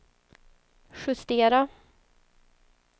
justera